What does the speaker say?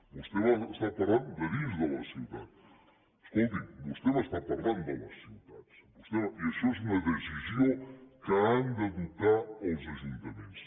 vostè m’està parlant de dins de la ciutat escolti’m vostè m’està parlant de les ciutats i això és una decisió que han d’adoptar els ajuntaments